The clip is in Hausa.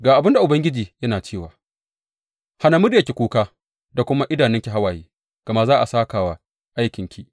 Ga abin da Ubangiji yana cewa, Hana muryarki kuka da kuma idanunki hawaye, gama za a sāka wa aikinki,